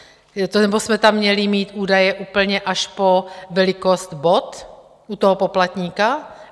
Nebo jsme tam měli mít údaje úplně až po velikost bot u toho poplatníka?